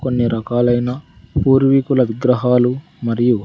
కొన్ని రకాలైన పూర్వీకుల విగ్రహాలు మరియు--